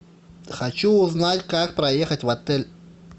хочу узнать как проехать в отель